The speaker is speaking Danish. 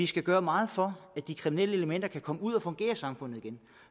skal gøre meget for at de kriminelle elementer kan komme ud at fungere i samfundet igen